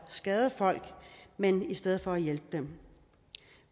skade folk men i stedet for hjælpe dem